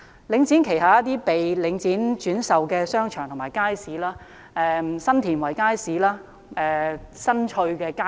領展旗下有一些被轉售的商場及街市，例如新田圍街市、新翠邨街市。